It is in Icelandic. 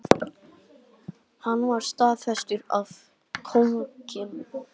Hann var staðfestur af konungi.